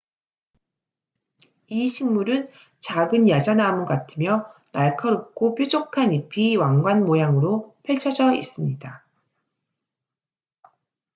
이 식물은 작은 야자나무 같으며 날카롭고 뾰족한 잎이 왕관 모양으로 펼쳐져 있습니다